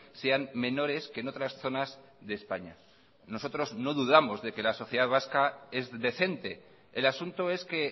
sean menores que en otras zonas de españa nosotros no dudamos de que la sociedad vasca es decente el asunto es que